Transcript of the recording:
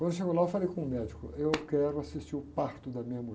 Quando chegou lá, eu falei com o médico, eu quero assistir o parto da minha mulher.